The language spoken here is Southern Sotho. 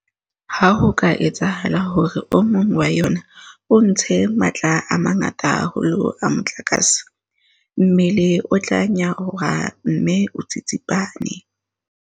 Ha ho ka etsahala hore o mong wa yona o ntshe matla a mangata haholo a motlakase, mmele o tla nyaroha mme o tsitsipane.